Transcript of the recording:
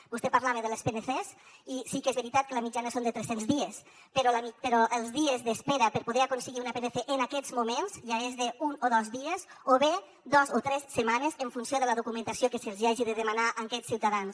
vostè parlava de les pncs i sí que és veritat que la mitjana és de tres cents dies però els dies d’espera per poder aconseguir una pnc en aquests moments ja és d’un o dos dies o bé de dos o tres setmanes en funció de la documentació que se’ls hagi de demanar a aquests ciutadans